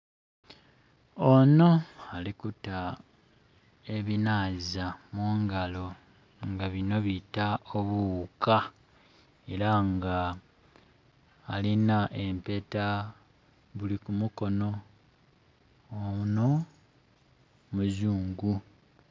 Ono ali kuta ebinaaza mungalo nga bino biita obughuka era nga alina empeta buli ku mukono. Ono muzungu.